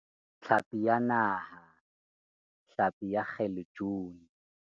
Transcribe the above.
Tlhapi ya Naha, hlapi ya kgalejuni